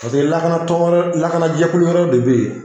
Paseke lakanatɔ lakana jɛkulu wɛrɛw de be yen